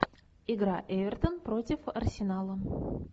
игра эвертон против арсенала